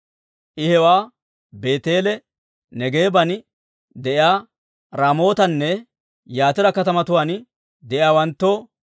I hewaa Beeteele, Neegeeban de'iyaa Raamootanne Yatira katamatuwaan de'iyaawanttoo,